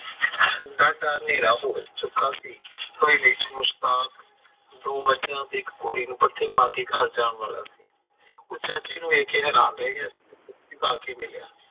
ਡਾਢਾ ਹਨੇਰਾ ਹੋ ਚੁੱਕਾ ਸੀ ਕੋਈ ਨੁਸਖਾ ਤੇ ਇੱਕ ਘੋੜੀ ਨੂੰ ਪੱਠੇ ਪਾ ਕੇ ਘਰ ਜਾਣ ਵਾਲਾ ਸੀ। ਉਹ ਚਾਚੇ ਨੂੰ ਵੇਖ ਕੇ ਹੈਰਾਨ ਰਹਿ ਗਿਆ ਪਾ ਕੇ ਮਿਲਿਆ